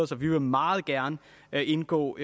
så vi vil meget gerne indgå